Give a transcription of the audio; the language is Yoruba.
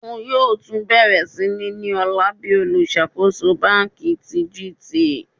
Oun yoo tun bẹrẹ ni ọla bi oluṣakoso banki ti GT.